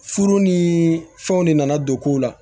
Furu ni fɛnw de nana don kow la